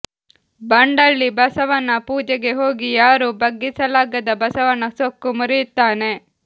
ಬಂಡಳ್ಳಿ ಬಸವನ ಪೂಜೆಗೆ ಹೋಗಿ ಯಾರೂ ಬಗ್ಗಿಸಲಾಗದ ಬಸವನ ಸೊಕ್ಕು ಮುರಿಯುತ್ತಾನೆ